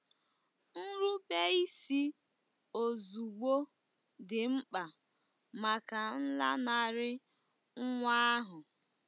Nrubeisi ozugbo dị mkpa maka nlanarị nwa ahụ.